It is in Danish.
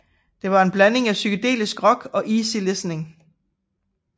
Det var en blanding af psykedelisk rock og easy listening